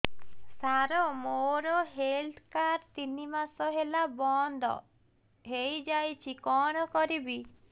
ସାର ମୋର health card ତିନି ମାସ ହେଲା ବନ୍ଦ ହେଇଯାଇଛି କଣ କରିବି